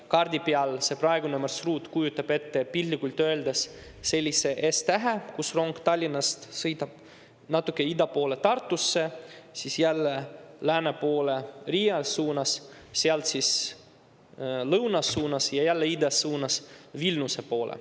Kaardi peal see praegune marsruut kujutab piltlikult öeldes S-tähte, kus rong Tallinnast sõidab natuke ida poole Tartusse, siis jälle lääne poole Riia suunas, sealt edasi lõuna suunas ja jälle ida suunas Vilniuse poole.